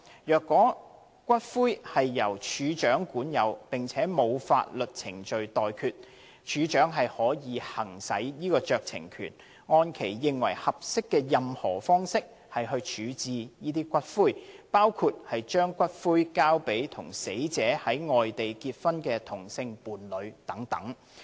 若骨灰由署長管有並且沒有法律程序待決，署長可行使酌情權，按其認為合適的任何方式處置該等骨灰，包括把骨灰交給與死者在外地結婚的同性伴侶等。